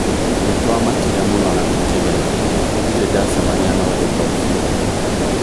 Nitwamakire mũno na tũkĩgega. Ndirĩ ndacemania na ũndũ ta ũcio".